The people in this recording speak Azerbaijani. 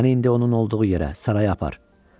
Məni indi onun olduğu yerə, saraya apar.